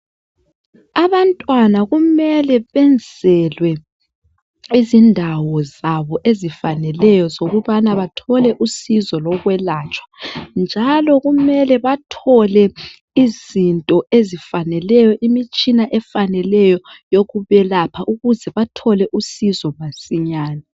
abantwana kufanele benzelwe izindawo zabo ezifanelweyo zokubana bathole usizo lokwelatshwa njalo kumele bathole izinto ezifaneleyo imitshina efaneleyo yokubelapa ukuze bathole usuzo masinyane